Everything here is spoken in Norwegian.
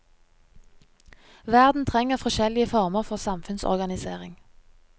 Verden trenger forskjellige former for samfunnsorganisering.